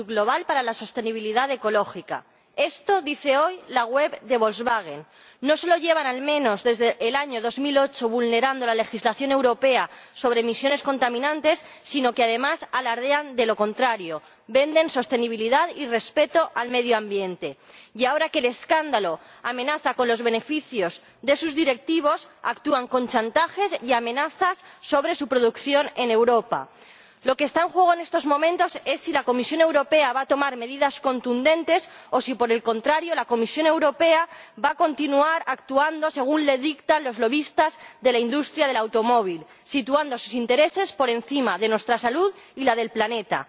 Señor Presidente, en Volkswagen no nos conformamos con construir coches de menos CO2, hemos desarrollado una actitud global para la sostenibilidad ecológica. Esto dice hoy la web de Volkswagen. No solo llevan, al menos, desde el año 2008 vulnerando la legislación europea sobre emisiones contaminantes, sino que además alardean de lo contrario, venden sostenibilidad y respeto al medio ambiente y, ahora que el escándalo amenaza con reducir los beneficios de sus directivos, actúan con chantajes y amenazas sobre su producción en Europa. Lo que está en juego en estos momentos es si la Comisión Europea va a tomar medidas contundentes o si, por el contrario, la Comisión Europea va a continuar actuando según le dictan los lobistas de la industria del automóvil, situando sus intereses por encima de nuestra salud y la del planeta.